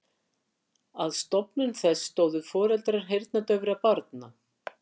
Að stofnun þess stóðu foreldrar heyrnardaufra barna.